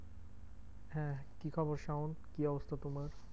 হ্যাঁ কি খবর শাওন? কি অবস্থা তোমার?